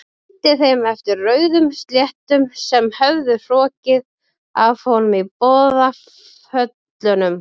Renndi þeim eftir rauðum slettum sem höfðu hrokkið af honum í boðaföllunum.